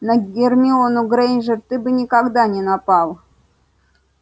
на гермиону грэйнджер ты бы никогда не напал